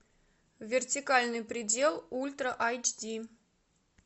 вертикальный предел ультра айч ди